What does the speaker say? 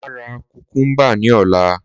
Máa ra kùkúmbà ní ọ̀la.